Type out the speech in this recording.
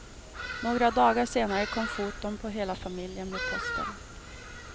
Några dagar senare kom foton på hela familjen med posten.